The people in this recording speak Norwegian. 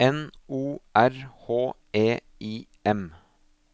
N O R H E I M